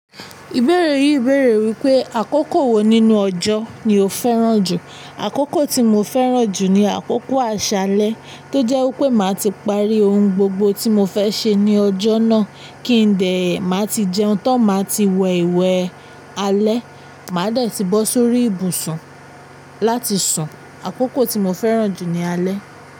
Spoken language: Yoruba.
Ìbéèrè yìí ń béèrè wípé àkókò wo nínú ọjọ́ ni o fẹ́ràn jù. Àkókò tí mo fẹ́ràn jù ni àkókò aṣálẹ́, tó jẹ́ wípé màá ti parí ohun gbogbo tí mo fẹ́ ṣe ní ọjọ́ náà kí n dẹ̀, màá ti jẹun, tán máa ti wẹ ìwẹ̀ alẹ́, màá dẹ̀ ti bọ́ sórí ibùsùn láti sùn. Àkókò tí mo fẹ́ràn jù ni alẹ́.